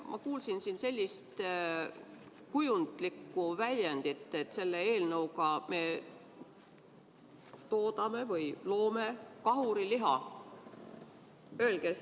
Ma kuulsin siin sellist kujundlikku väljendit, et selle eelnõuga me toodame kahuriliha.